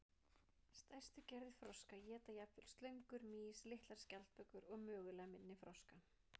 Stærstu gerðir froska éta jafnvel slöngur, mýs, litlar skjaldbökur og mögulega minni froska.